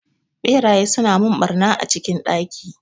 Ɓeraye suna mun ɓarna a cikin ɗaki